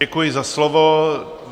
Děkuji za slovo.